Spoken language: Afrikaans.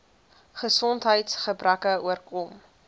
gesondheids gebreke oorkom